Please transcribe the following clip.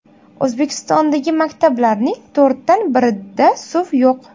O‘zbekistondagi maktablarning to‘rtdan birida suv yo‘q.